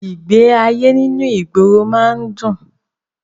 Ìgbé ayé nínú ìgboro má ń dùn